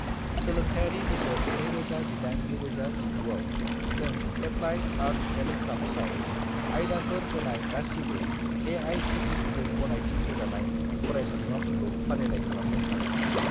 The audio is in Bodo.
सोलोंथायरि बोसोर 2018 - 2019 आव, नों एप्लाइड आर्टस एन्ड क्राफ्टसआव आयदाफोर होनाय गासिबो ए.आइ.सि.टि.इ.जों गनायथि होजानाय फरायसालिमाफोरखौ फारिलाइ खालामनो हागोन नामा?